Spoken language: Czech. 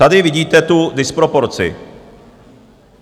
Tady vidíte tu disproporci.